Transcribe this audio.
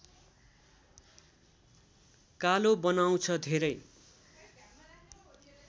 कालो बनाउँछ धेरै